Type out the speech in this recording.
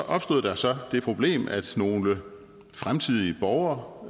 opstod der så det problem at nogle fremtidige borgere